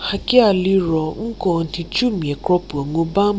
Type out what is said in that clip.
hakia liro nko nhicumia kro puo ngu ba mu.